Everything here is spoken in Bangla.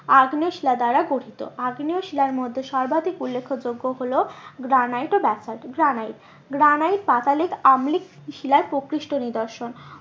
আগ্নেয় শিলা দ্বারা গঠিত, আগ্নেয় শিলার মধ্যে সর্বাধিক উল্লেখ যোগ্য হলো গ্রানাইট ও ব্যাসল্ট, গ্রানাইট গ্রানাইট পাতালিক আম্লিক শিলার প্রকৃষ্ট নিদর্শন